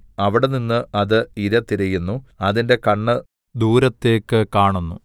അവിടെനിന്ന് അത് ഇര തിരയുന്നു അതിന്റെ കണ്ണ് ദൂരത്തേക്കു കാണുന്നു